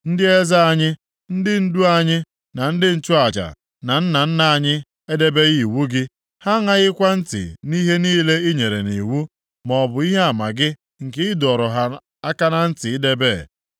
Ndị eze anyị, ndị ndụ anyị na ndị nchụaja na nna nna anyị edebeghị iwu gị; ha aṅaghịkwa ntị nʼihe niile i nyere nʼiwu maọbụ ihe ama gị nke ị dọrọ ha aka na ntị idebe.